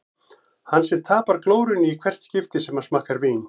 Hann sem tapar glórunni í hvert skipti sem hann smakkar vín.